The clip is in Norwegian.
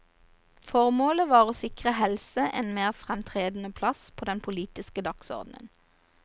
Formålet var å sikre helse en mer fremtredende plass på den politiske dagsordenen.